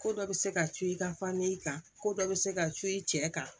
Ko dɔ bɛ se ka co i ka fami kan ko dɔ bɛ se ka co i cɛ kan